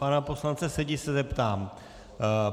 Pana poslance Sedi se zeptám: